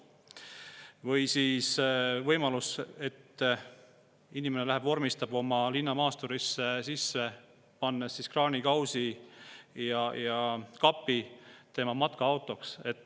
Või siis võimalus, et inimene paneb oma linnamaasturisse sisse kraanikausi ja kapi ja läheb vormistab selle matkaautona.